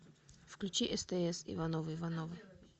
включи стс ивановы ивановы